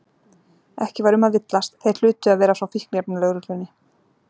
Ekki var um að villast, þeir hlutu að vera frá Fíkniefnalögreglunni.